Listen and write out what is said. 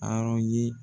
Arɔn ye